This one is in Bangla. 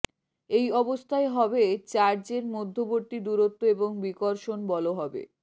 এই অবস্থায় হবে চার্জ এর মধ্যেবর্তি দূরত্ব এবং বিকর্ষণ বল হবে